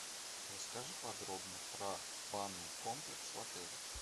расскажи подробно про банный комплекс в отеле